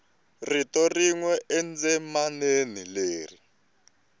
rito rin we endzimaneni leri